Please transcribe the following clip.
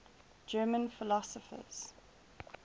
german philosophers